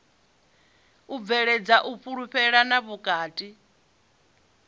u bveledza u fhulufhelana vhukati